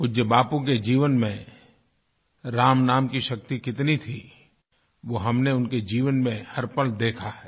पूज्य बापू के जीवन में राम नाम की शक्ति कितनी थी वो हमने उनके जीवन में हर पल देखा है